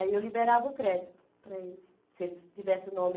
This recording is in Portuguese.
Aí eu liberava o crédito para eles, se eles tivessem o nome...